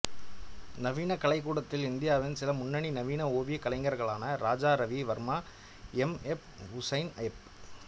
நவீன கலைக்கூடத்தில் இந்தியாவின் சில முன்னணி நவீன ஓவியக் கலைஞர்களான Raja Ravi Varma M F Husain F